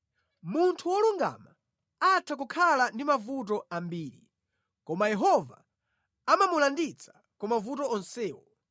Munthu wolungama atha kukhala ndi mavuto ambiri, Koma Yehova amamulanditsa ku mavuto onsewo,